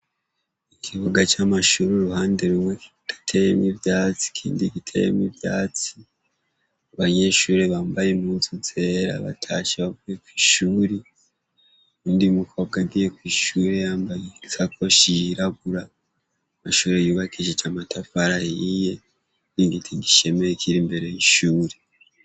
Ikibuga c' ishure uruhande kimwe kidateyemwo ivyatsi , ikindi giteyemwo ivyatsi, abanyeshuri bambaye impuzu zera bavuye kw'ishure, uwundi mukobwa agiye kw'ishure yambaye isakoshi yirabura, inzu yubakishije amatafari ahiye, igiti gishemeye kiri imbere y' ishuri.